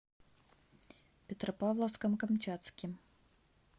петропавловском камчатским